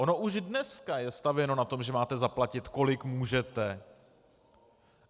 Ono už dneska je stavěno na tom, že máte zaplatit, kolik můžete.